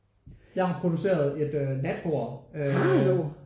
Jeg har produceret et øh natbord øh